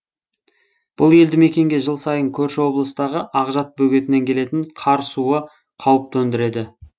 бұл елді мекенге жыл сайын көрші облыстағы ақжат бөгетінен келетін қар суы қауіп төндіреді